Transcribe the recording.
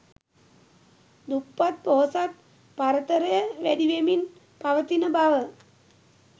දුප්පත් පොහොසත් පරතරය වැඩිවෙමින් පවතින බව